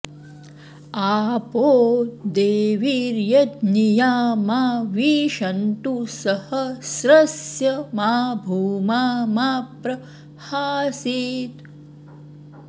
आपो॑ दे॒वीर्य॒ज्ञिया॒ मा वि॑शन्तु स॒हस्र॑स्य मा भू॒मा मा प्र हा॑सीत्